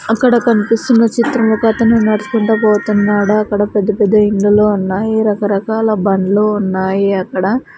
అక్కడ కన్పిస్తున్న చిత్రము ఒకతను నడుచుకుంటా పోతున్నాడు అక్కడ పెద్ద పెద్ద ఇండ్లలో ఉన్నాయి రకరకాల బండ్లు ఉన్నాయి అక్కడ --